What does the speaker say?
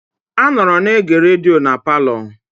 A nọọrọ na-ege rediyo na palọ.